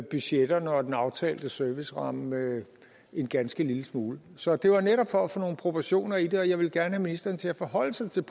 budgetterne og den aftalte serviceramme en ganske lille smule så det var netop for at få nogle proportioner i det og jeg ville gerne have ministeren til at forholde sig til